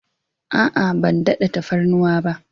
A'a, ban daɗa tafarnuwa ba.